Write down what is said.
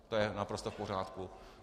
To je naprosto v pořádku.